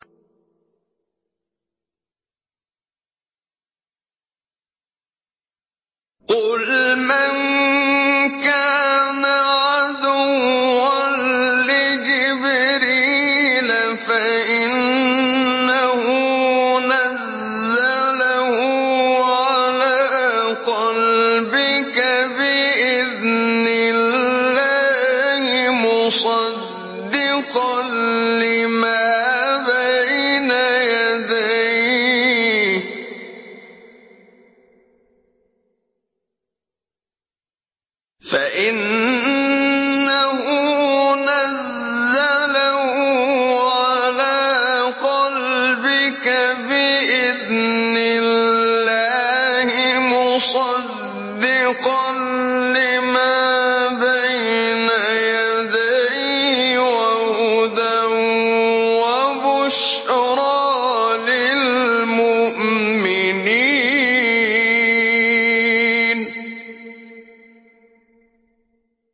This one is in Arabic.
قُلْ مَن كَانَ عَدُوًّا لِّجِبْرِيلَ فَإِنَّهُ نَزَّلَهُ عَلَىٰ قَلْبِكَ بِإِذْنِ اللَّهِ مُصَدِّقًا لِّمَا بَيْنَ يَدَيْهِ وَهُدًى وَبُشْرَىٰ لِلْمُؤْمِنِينَ